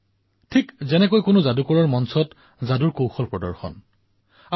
চাওক কোনো জুই নজ্বলোৱাকৈ জুইশলা ব্যৱহাৰ নকৰাকৈ চাওক এয়া মই ধোঁৱা উলিয়াই দেখুৱাইছো